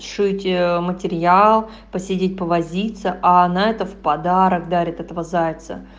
шить материал посидеть повозиться а она это в подарок дарит этого зайца